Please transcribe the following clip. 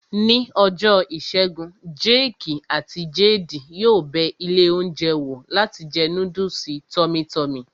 Ní ọjọ́ ìṣẹ́gun, jéèkì àti jeedi yóò bẹ ilé oúnjẹ wò láti jẹ núdùsì tọ́mí tọmì